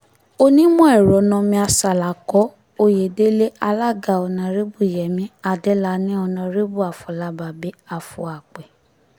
onímọ̀-ẹ̀rọ noomir ṣàlàkò-òyedèlẹ̀- alága ọ̀nàrẹ́bù yẹmi adélànì ọ̀nàrẹ́bù afọlábábí afúàpẹ́